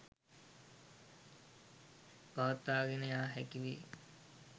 පවත්වාගෙන යා හැකි වෙයි